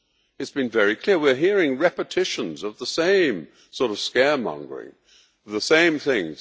It has been very clear we are hearing repetitions of the same sort of scaremongering, the same things.